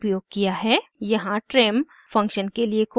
यहाँ trim function के लिए कोड है